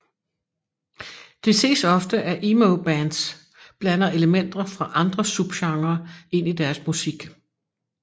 Det ses ofte at emo bands blander elementer fra andre subgenrer ind i deres musik